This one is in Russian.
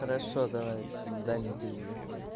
хорошо давай дай мне пизди